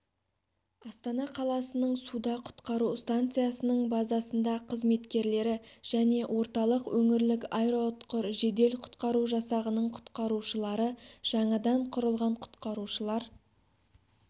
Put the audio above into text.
астана қаласының суда-құтқару станциясының базасында қызметкерлері және орталық өңірлік аэроұтқыр жедел-құтқару жасағының құтқарушылары жаңадан құрылған құтқарушылар